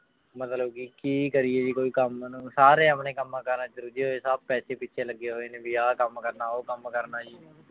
ਮਤਲਬ ਕਿ ਕੀ ਕਰੀਏ ਜੀ ਕੋਈ ਕੰਮ ਨੂੰ ਸਾਰੇ ਆਪਣੇ ਕੰਮਾਂ ਕਾਰਾਂ ਚ ਰੁੱਝੇ ਹੋਏ, ਸਭ ਪੈਸੇ ਪਿੱਛੇ ਲੱਗੇ ਹੋਏ ਨੇ ਵੀ ਆਹ ਕੰਮ ਕਰਨਾ, ਉਹ ਕੰਮ ਕਰਨਾ ਜੀ।